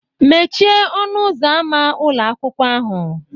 Mechie ọnụ ụzọ ámá ụlọ akwụkwọ ahu